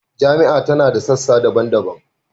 Jami’a ta da sassa daban-daban